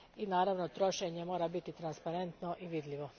I, naravno, trošenje mora biti transparentno i vidljivo.